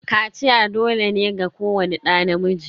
Kaciya dole ne ga kowani ɗa namiji.